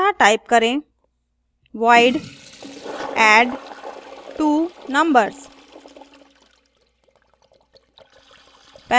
अतः type करें void addtwonumbers